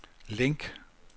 link